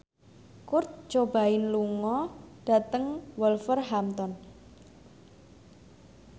Kurt Cobain lunga dhateng Wolverhampton